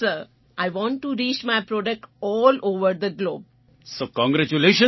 yes sir I want to reach my product all over the globe of all world